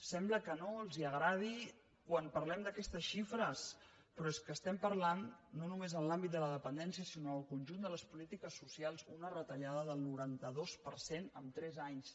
sembla que no els agradi quan parlem d’aquestes xifres però és que estem parlant no només en l’àmbit de la dependència sinó en el conjunt de les polítiques socials d’una retallada del noranta dos per cent en tres anys